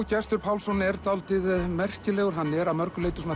Gestur Pálsson er dálítið merkilegur er að mörgu leyti